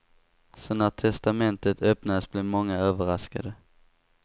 Så när testamentet öppnades blev många överraskade.